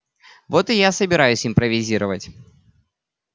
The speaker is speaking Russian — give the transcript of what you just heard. вот и я собираюсь импровизировать